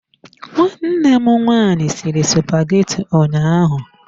Nwanne m nwaanyị sịrị spageti ụnyaahụ.